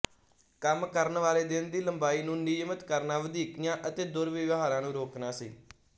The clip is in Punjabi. ਕੰਮ ਕਰਨ ਵਾਲੇ ਦਿਨ ਦੀ ਲੰਬਾਈ ਨੂੰ ਨਿਯਮਤ ਕਰਨਾ ਵਧੀਕੀਆਂ ਅਤੇ ਦੁਰਵਿਵਹਾਰਾਂ ਨੂੰ ਰੋਕਣਾ ਸੀ